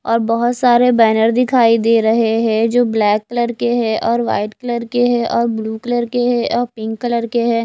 और बहोत सारे बैनर दिखाई दे रहे हैं जो ब्लैक कलर के हैं और वाइट कलर के है और ब्लू कलर के हैं और पिंक कलर के हैं।